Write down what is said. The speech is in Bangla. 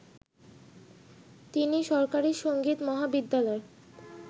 তিনি সরকারি সংগীত মহাবিদ্যালয়